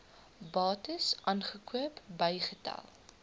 bates aangekoop bygetel